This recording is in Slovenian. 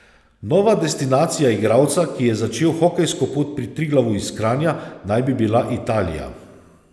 Nova destinacija igralca, ki je začel hokejsko pot pri Triglavu iz Kranja, naj bi bila Italija.